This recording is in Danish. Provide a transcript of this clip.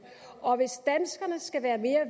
og hvis danskerne skal være mere